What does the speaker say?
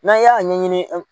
N'an y'a ɲɛɲini